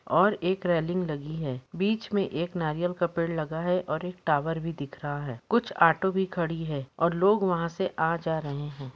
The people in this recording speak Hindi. और एक रेलिंग लगी है बिच मे एक नरीयल का पेड़ लगा है ओर एक टावर भी दिख रहा है कुछ आटो भी खड़ी है ओर लोग वहा से आ जा रहे है।